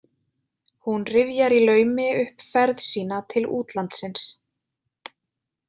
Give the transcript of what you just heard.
Hún rifjar í laumi upp ferð sína til útlandsins.